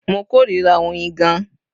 Mo kórìíra oyin gan-an